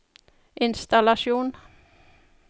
innstallasjon